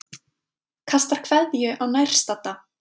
Kastar kveðju á nærstadda.